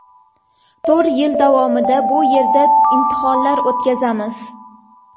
To‘rt yil davomida bu yerda imtihonlar o‘tkazamiz.